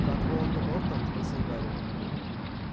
над волан-де-мортом спросил гарри